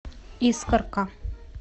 искорка